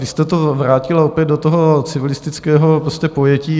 Vy jste to vrátila opět do toho civilistického pojetí.